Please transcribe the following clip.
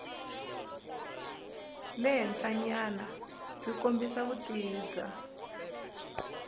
le henhlanyanabyi kombisa vutivi bya